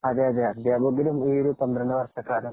അതെയതെ, അധ്യാപകനും ഈ ഒരു പന്ത്രണ്ടു വര്‍ഷക്കാലം